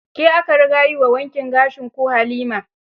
Ke aka riga yi wa wankin gashin ko Halima?